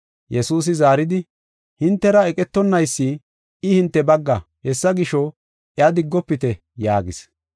Yesuusi zaaridi, “Hintera eqetonnaysi, I hinte bagga. Hessa gisho, iya diggofite” yaagis.